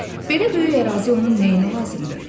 Belə böyük ərazi onun nəyinə lazımdı?